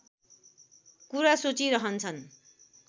कुरा सोचिरहन्छन्